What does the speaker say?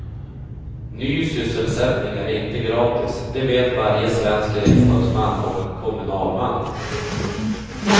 Ny sysselsättning är inte gratis, det vet varje svensk riksdagsman och kommunalman.